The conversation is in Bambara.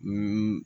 Ni